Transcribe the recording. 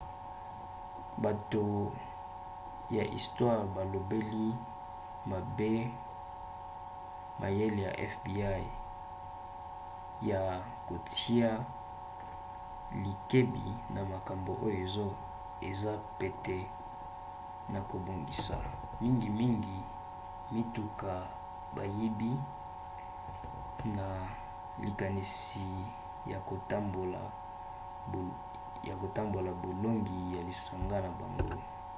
bato ya istware balobeli mabe mayele ya fbi ya kotia likebi na makambo oyo eza pete na kobongisa mingimingi mituka bayibi na likanisi ya kotombola bolongi ya lisanga na bango